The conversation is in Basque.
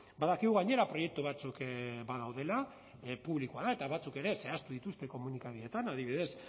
badakigu gainera proiektu batzuk badaudela publikoa da eta batzuk ere zehaztu dituzte komunikabideetan adibidez